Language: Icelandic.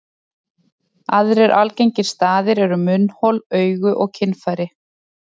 Aðrir algengir staðir eru munnhol, augu og kynfæri.